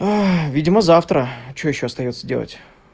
видимо завтра что ещё остаётся делать